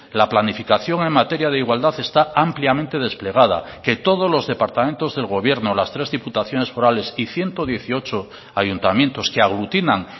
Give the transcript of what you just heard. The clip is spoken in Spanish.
la planificación en materia de igualdad está ampliamente desplegada que todos los departamentos del gobierno las tres diputaciones forales y ciento dieciocho ayuntamientos que aglutinan